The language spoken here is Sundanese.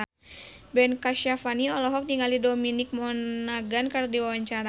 Ben Kasyafani olohok ningali Dominic Monaghan keur diwawancara